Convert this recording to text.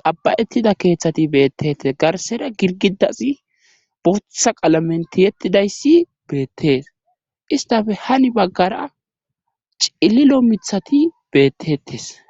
qabba7ettida keeththati beettettes garsera girgidasi butha qalamenti yettidayssi beettees istafe hani baggara cililo mithati bettetes